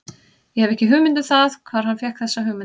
Ég hef ekki hugmynd um það hvar hann fékk þessa hugmynd.